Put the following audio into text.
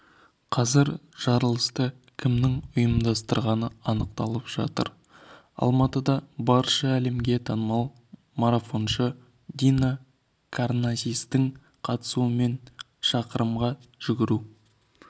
қазір жарылысты кімнің ұйымдастырғаны анықталып жатыр алматыда барша әлемге танымал марафоншы дина карнасистің қатысуымен шақырымға жүгіру